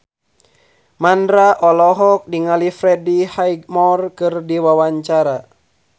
Mandra olohok ningali Freddie Highmore keur diwawancara